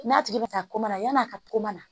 N'a tigi bɛ ka koma yan'a ka ko mana